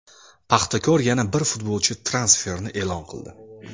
"Paxtakor" yana bir futbolchi transferini e’lon qildi.